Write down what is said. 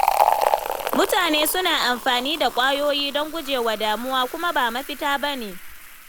Mutane suna amfani da ƙwayoyi don guje wa damuwa, kuma ba mafita ba ne.